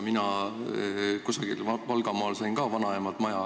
Mina sain ka kusagil Valgamaal vanaemalt maja.